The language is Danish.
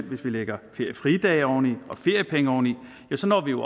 hvis vi lægger feriefridage oven i og feriepenge oven i så når vi jo